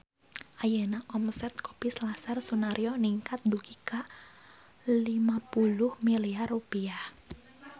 Ayeuna omset Kopi Selasar Sunaryo ningkat dugi ka 50 miliar rupiah